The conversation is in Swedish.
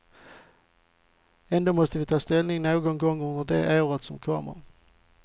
Ändå måste vi ta ställning någon gång under det år som kommer.